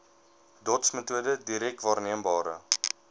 dotsmetode direk waarneembare